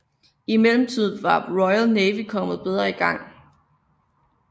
I mellemtiden var Royal Navy kommet bedre i gang